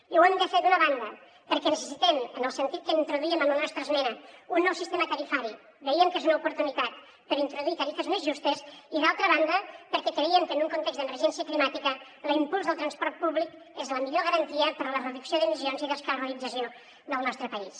i ho hem de fer d’una banda perquè necessitem en el sentit que ho introduíem en la nostra esmena un nou sistema tarifari veient que és una oportunitat per introduir tarifes més justes i d’altra banda perquè creiem que en un context d’emergència climàtica l’impuls del transport públic és la millor garantia per a la reducció d’emissions i descarbonització del nostre país